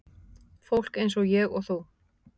Fólk eins og ég og þú.